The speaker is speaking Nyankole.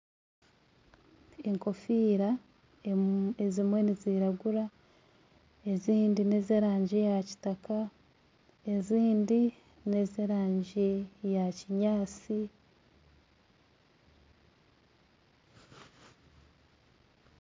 Enkofiira ezimwe niziragura ezindi nezerangi ya kitaka ezindi nezerangi eya kinyatsi